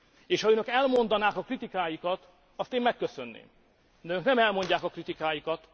És ha Önök elmondanák a kritikáikat, azt én megköszönném, de Önök nem elmondják a kritikáikat.